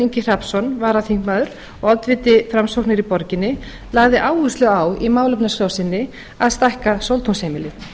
ingi hrafnsson varaþingmaður og oddviti framsóknar í borginni lagði áherslu á í málefnaskrá sinni að stækka sóltúnsheimilið